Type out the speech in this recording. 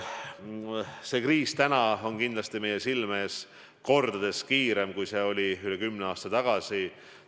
Praegune kriis käivitus meie silme ees kordades kiiremini kui see, mis oli üle kümne aasta tagasi.